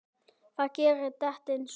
Það gerir dekkin svört.